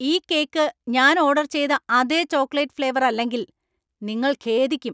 ഈ കേക്ക് ഞാൻ ഓർഡർ ചെയ്ത അതേ ചോക്ലേറ്റ് ഫ്ലേവർ അല്ലെങ്കിൽ, നിങ്ങൾ ഖേദിക്കും!